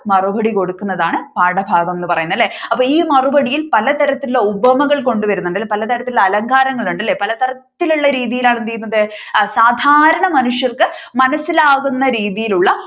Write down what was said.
മറുപടി കൊടുക്കുന്നതാണ് പാഠഭാഗം എന്ന് പറയുന്നത് അല്ലെ അപ്പൊ ഈ മറുപടിയിൽ പലതരത്തിലുള്ള ഉപമകൾ കൊണ്ടുവരുന്നുണ്ട് പല തരത്തിലുള്ള അലങ്കാരങ്ങൾ ഉണ്ട് അല്ലെ പലതരത്തിലുള്ള രീതിയിലാണ് എന്ത് ചെയ്യുന്നത് സാധാരണ മനുഷ്യർക്ക് മനസിലാകുന്ന രീതിയിൽ ഉള്ള